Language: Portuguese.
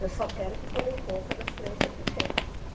Eu só quero que tomem conta das crianças pequenas.